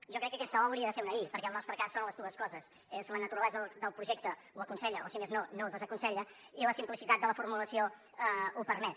jo crec que aquesta o hauria de ser una i perquè en el nostre cas són les dues coses és que la naturalesa del projecte ho aconsella o si més no no ho desaconsella i la simplicitat de la formulació ho permet